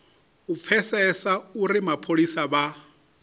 u pfesesa uri mapholisa vha